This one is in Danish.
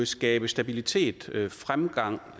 skabe stabilitet fremgang